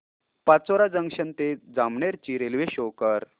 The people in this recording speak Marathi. पाचोरा जंक्शन ते जामनेर ची रेल्वे शो कर